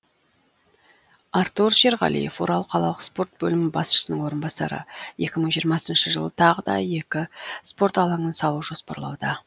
артур шерғалиев орал қалалық спорт бөлімі басшысының орынбасары екі мың жиырмасыншы жылы тағы да екі спорт алаңын салу жоспарлауда